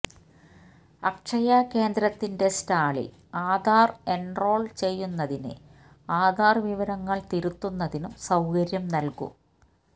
അക്ഷയ കേന്ദ്രത്തിന്റെ സ്റ്റാളില് ആധാര് എന്റോള് ചെയ്യുന്നതിനും ആധാര് വിവരങ്ങള് തിരുത്തുന്നതിനും സൌകര്യം നല്കും